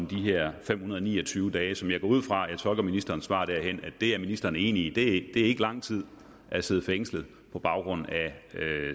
de her fem hundrede og ni og tyve dage som jeg går ud fra jeg tolker ministerens svar derhen ministeren er enig i ikke er lang tid at sidde fængslet på grund af